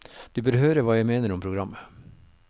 Du bør høre hva jeg mener om programmet.